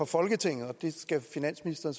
folketinget og det skal finansministeren